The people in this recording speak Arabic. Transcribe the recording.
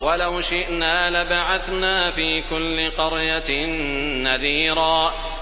وَلَوْ شِئْنَا لَبَعَثْنَا فِي كُلِّ قَرْيَةٍ نَّذِيرًا